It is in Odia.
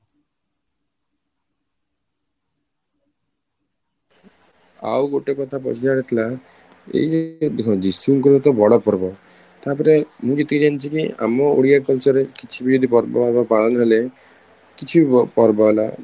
ଆଉ ଗୋଟେ କଥା ପଚାରିବାର ଥିଲା ଏଇ ଦେଖନ୍ତୁ ଯୀଶୁଙ୍କର ତ ବଡ ପର୍ବ ତାପରେ ମୁଁ ଯେତିକି କି ଜାଣିଛି ଆମ ଓଡ଼ିଆ culture ରେ କିଛି ବି ଯଦି ପର୍ବ ହେବା ପାଳନ ହେଲେ କିଛି ବି ପର୍ବ ହେଲା